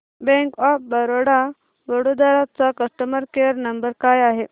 bank of Baroda Vadodara चा customer care number काय आहे